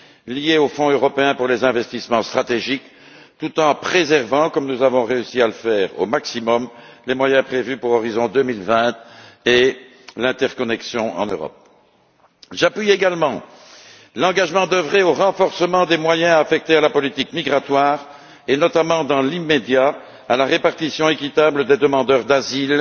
liée au Fonds européen pour les investissements stratégiques tout en préservant au maximum comme nous avons réussi à le faire, les moyens prévus pour Horizon 2020 et pour le mécanisme pour l'interconnexion en Europe. Je soutiens également l'engagement d'œuvrer au renforcement des moyens affectés à la politique migratoire et notamment, dans l'immédiat, à la répartition équitable des demandeurs d'asile